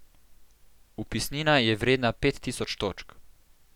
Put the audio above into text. Vpisnina je vredna pet tisoč točk.